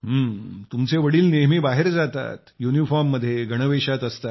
तुमचे वडील नेहमी बाहेर जातात युनिफॉर्म मध्ये गणवेशात असतात